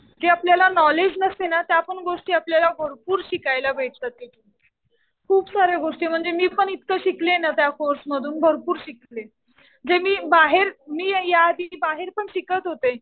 जे आपल्याला नॉलेज नसते ना त्या पण गोष्टी आपल्याला भरपूर शिकायला भेटतात तिथे. खूप साऱ्या गोष्टी म्हणजे मी पण इतकं शिकले ना त्या कोर्स मधून. भरपूर शिकले. जे मी बाहेर, मी या आधी बाहेर पण मी शिकत होते.